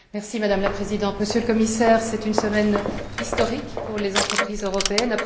Madame la Présidente, Monsieur le Commissaire, c'est une semaine historique pour les entreprises européennes.